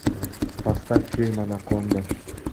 поставь фильм анаконда